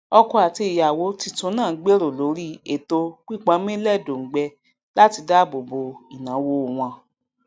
ọkọ àti ìyàwó titun náà gbèrò lórí èto píponmílẹdòngbẹ láti dáàbò bo ìnáwo wọn